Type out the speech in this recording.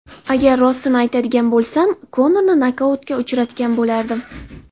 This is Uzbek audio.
Agar rostini aytadigan bo‘lsam, Konorni nokautga uchratgan bo‘lardim.